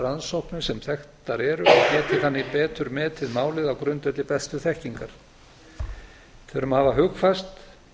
rannsóknir sem þekktar eru og geti þannig betur metið málið á grundvelli bestu þekkingar við þurfum að hafa hugfast